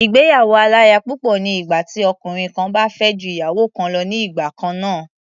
Ìgbéyàwó-aláya-púpọ̀ ni ìgbà tí ọkùnrin kan bá fẹ́ ju ìyàwó kan lọ ní igbà kan náà.